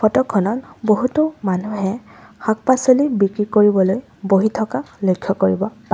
Photo খনত বহুতো মানুহে শাক পাচলি বিক্ৰী কৰিবলৈ বহি থকা লক্ষ্য কৰিব পাৰি।